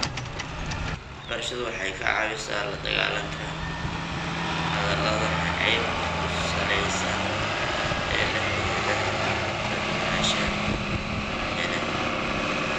Waxbarashadu waxay ka caawisaa la dagaalanka hadalada nacaybka ku salaysan ee la xidhiidha kala duwanaanshaha qabyaaladda.